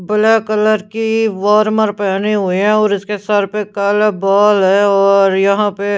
black colour की warmer पहनी हुई है और इसके सर पे काला बाल है और यहां पे--